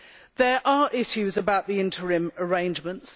There are issues about the interim arrangements.